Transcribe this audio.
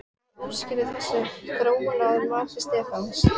En hvað útskýrir þessa þróun að mati Stefáns?